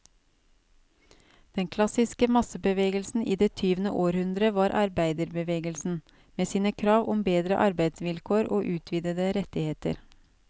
Den klassiske massebevegelsen i det tyvende århundre var arbeiderbevegelsen, med sine krav om bedre arbeidsvilkår og utvidede rettigheter.